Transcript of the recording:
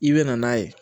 I bɛ na n'a ye